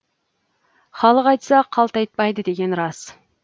халық айтса қалт айтпайды деген рас